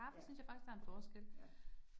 Ja. Ja